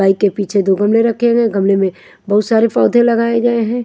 Bike के पीछे दो गमले रखे हुए हैं गमले में बहुत सारे पौधे लगाए गए है।